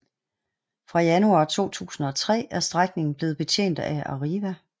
Fra januar 2003 er strækningen blevet betjent af Arriva